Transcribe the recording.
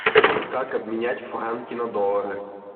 как обменять франки на доллары